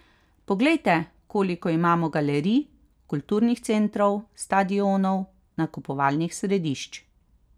Poglejte, koliko imamo galerij, kulturnih centrov, stadionov, nakupovalnih središč.